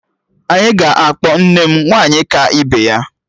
Anyị ga-akpọ nne m 'Nwaanyị ka ibe ya'